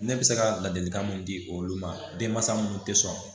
Ne bɛ se ka ladilikan mun di olu ma denmansa minnu tɛ sɔn